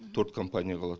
төрт компания қалады